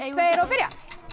tveir og byrja